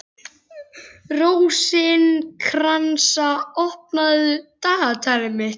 Rósinkransa, opnaðu dagatalið mitt.